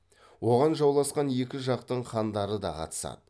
оған жауласқан екі жақтың хандары да қатысады